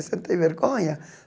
Você não tem vergonha?